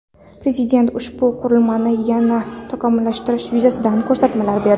Prezident ushbu qurilmani yanada takomillashtirish yuzasidan ko‘rsatmalar berdi.